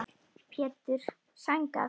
Pétur: Sængað?